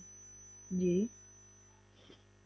ਜੀ